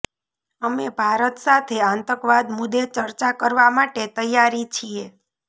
અમે ભારત સાથે આતંકવાદ મુદ્દે ચર્ચા કરવા માટે તૈયારી છીએ